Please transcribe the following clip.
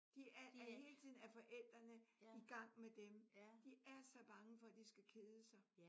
De er hele tiden at forældrene i gang med dem. De er så bange for at de skal kede sig